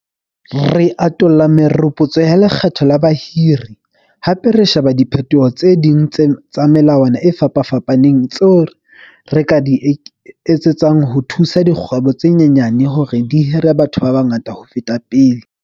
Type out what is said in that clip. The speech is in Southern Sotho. Re atolla meropotso ya lekgetho la bahiri, hape re sheba diphetoho tse ding tsa melawana e fapafapaneng tseo re ka di etsetsang ho thusa dikgwebo tse nyenyane hore di hire batho ba bangata ho feta pele.